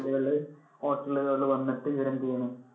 ല്~ hotel കളിൽ വന്നിട്ട് ഇവര് എന്ത് ചെയ്യുന്നു